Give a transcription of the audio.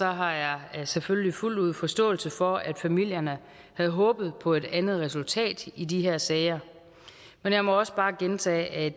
har jeg selvfølgelig fuldt ud forståelse for at familierne havde håbet på et andet resultat i de her sager men jeg må også bare gentage